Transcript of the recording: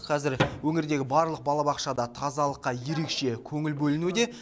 қазір өңірдегі барлық балабақшада тазалыққа ерекше көңіл бөлінуде